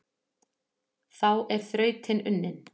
Þá er þrautin unnin,